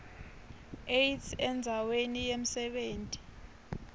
aids endzaweni yemsebenti